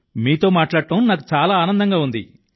మీతో మాట్లాడడం నాకు చాలా ఆనందంగా ఉంది